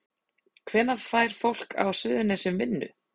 Hvenær fær fólk á Suðurnesjum vinnu?